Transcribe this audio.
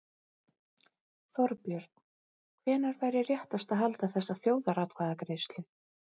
Þorbjörn: Hvenær væri réttast að halda þessa þjóðaratkvæðagreiðslu?